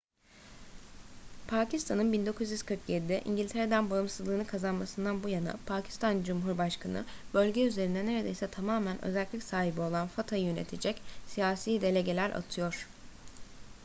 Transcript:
pakistan'ın 1947'de i̇ngiltere’den bağımsızlığını kazanmasından bu yana pakistan cumhurbaşkanı bölge üzerinde neredeyse tamamen özerklik sahibi olan fata'yı yönetecek siyasi delegeler atıyor